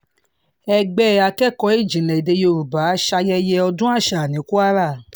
ẹgbẹ́ akẹ́kọ̀ọ́ ìjìnlẹ̀ èdè yorùbá ṣayẹyẹ ọdún àṣà ní kwara